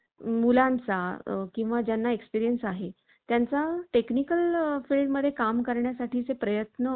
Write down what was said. प्रत्यक्ष भेट घेता आली नाही तरी, स्मरणाने गुरूच्या रागाचे, प्रेमाचे बोल आठवत असतो. आज जो मी या जगात यशस्वी आहे, त्या माझ्या गुरूच्या कष्टाच्या फार मोठा वाट आहे.